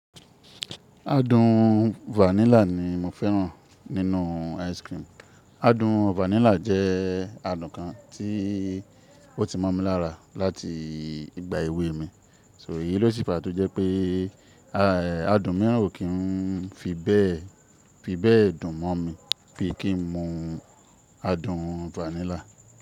Adùn vanilla ni mo fẹ́ràn nínú ice cream. Adùn vanilla jẹ́ adùn kan tí ó ti mọ̀ mi lára láti ìgbà èwe mi. So èyí ló sì fà á tó jẹ́ pé adùn mìíràn ò kí n fi bẹ́ẹ̀ dùn mọ́ mi bíi kí n mu adùn vanilla.